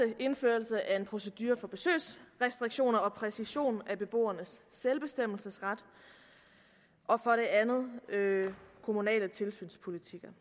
en indførelse af en procedure for besøgsrestriktioner og en præcision af beboernes selvbestemmelsesret og for det andet kommunale tilsynspolitikker